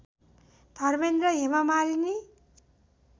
Dharmendra Hema Malini